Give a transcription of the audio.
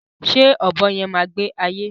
Ṣé ọ̀bọ yẹn má gbé ayé